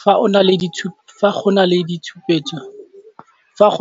Fa go